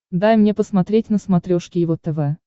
дай мне посмотреть на смотрешке его тв